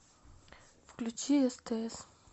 включи стс